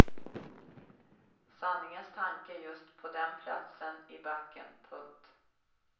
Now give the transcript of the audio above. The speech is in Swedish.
Sanningens tanke just på den platsen i backen. punkt